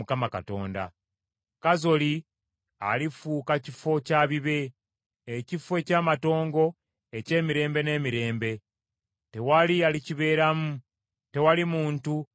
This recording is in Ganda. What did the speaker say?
“Kazoli alifuuka kifo kya bibe, ekifo eky’amatongo eky’emirembe n’emirembe. Tewali alikibeeramu; tewali muntu alikituulamu.”